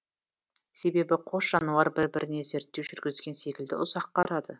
себебі қос жануар бір біріне зерттеу жүргізген секілді ұзақ қарады